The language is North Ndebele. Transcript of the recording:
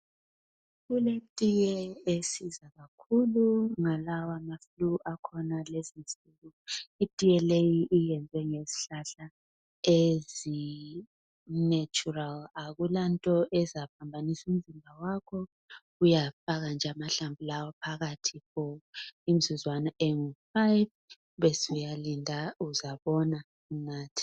Kuletiye esiza kakhulu ngalawa ma flue akhona kulezinsuku. Itiye leyi iyenziwe ngezihlahla ezi natural, akulanto ezaphambanisa umzimba wakho. Uyafaka nje amahlamvu lawa phakathi for imizuzwana engu five besuyalinda uzabona unathe